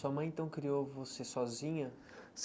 Sua mãe, então, criou você sozinha?